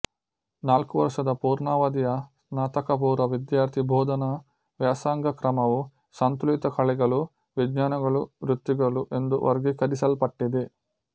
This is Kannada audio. ನಾಲ್ಕು ವರ್ಷದ ಪೂರ್ಣಾವಧಿಯ ಸ್ನಾತಕಪೂರ್ವ ವಿದ್ಯಾರ್ಥಿ ಬೋಧನಾ ವ್ಯಾಸಂಗಕ್ರಮವು ಸಂತುಲಿತ ಕಲೆಗಳು ವಿಜ್ಞಾನಗಳುವೃತ್ತಿಗಳು ಎಂದು ವರ್ಗೀಕರಿಸಲ್ಪಟ್ಟಿದೆ